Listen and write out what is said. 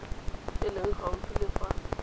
e leng gaufi le fa